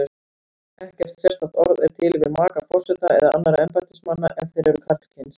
Ekkert sérstakt orð er til yfir maka forseta eða annarra embættismanna ef þeir eru karlkyns.